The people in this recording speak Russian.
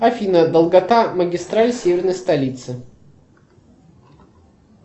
афина долгота магистраль северной столицы